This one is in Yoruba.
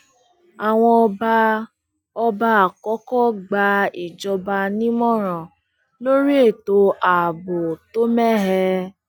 àwọn ọba ọba àkọkọ gba ìjọba nímọràn lórí ètò ààbò tó mẹhẹ